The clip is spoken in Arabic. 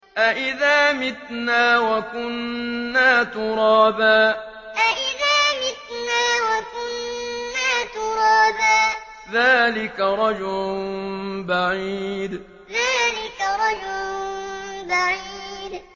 أَإِذَا مِتْنَا وَكُنَّا تُرَابًا ۖ ذَٰلِكَ رَجْعٌ بَعِيدٌ أَإِذَا مِتْنَا وَكُنَّا تُرَابًا ۖ ذَٰلِكَ رَجْعٌ بَعِيدٌ